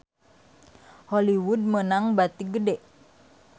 Hollywood meunang bati gede